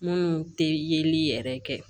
Minnu tɛ yeli yɛrɛ kɛ